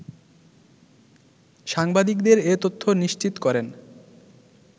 সাংবাদিকদের এ তথ্য নিশ্চিত করেন